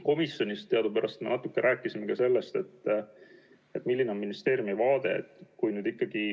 Komisjonis ma rääkisin natuke ka sellest, milline on ministeeriumi vaade.